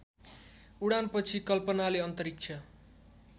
उडानपछि कल्पनाले अन्तरिक्ष